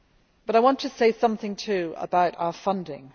But I want to say something too about our funding.